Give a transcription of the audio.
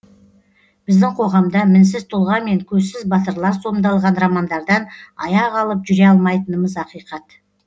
біздің қоғамда мінсіз тұлға мен көзсіз батырлар сомдалған романдардан аяқ алып жүре алмайтынымыз ақиқат